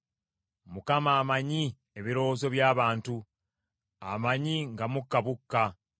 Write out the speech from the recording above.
Mukama amanyi ebirowoozo by’abantu; amanyi nga mukka bukka.